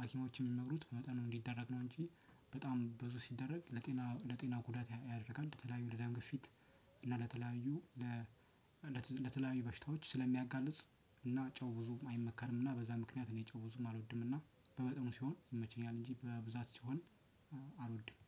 ሀኪሞችን የሚመክሩት በመጠኑ እንዲደረግ ነው እንጂ በጣም ብዙ ሲደረግ ለጤና ለጤና ጉዳት ያደርጋል። ለተለያዩ ለደም ግፊት እና ለተለያዩ ለ ለተለያዩ በሽታዎች ስለሚያጋልጽ እና ጨው ብዙም አይመከርም። እና በዛ ምክንያት እኔ ጨው ብዙም አልወድም እና በመጠኑ ሲሆን ይመቸኛል። እንጂ በብዛት ሲሆን አልወድም